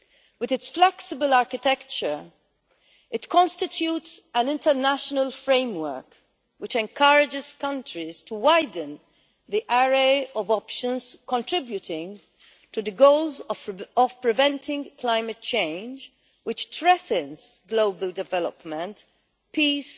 With its flexible architecture it constitutes an international framework which encourages countries to widen the array of options contributing to the goals of preventing climate change, which threatens global development, peace